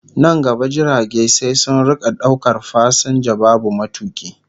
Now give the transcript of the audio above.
Nan gaba jirage sai sun rika daukar fasinja babu matuki